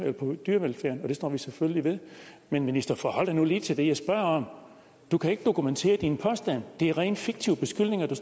står vi selvfølgelig ved men minister forhold dig nu lige til det jeg spørger om du kan ikke dokumentere dine påstande det er rent fiktive beskyldninger du